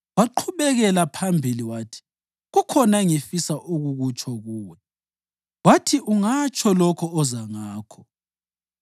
Waqhubekela phambili wathi, “Kukhona engifisa ukukutsho kuwe.” Wathi, “Ungatsho lokho oza ngakho.”